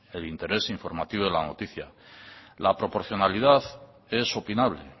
del interés informativo de la noticia la proporcionalidad es opinable